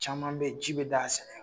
Caman be ye ji be d'a sɛnɛ kan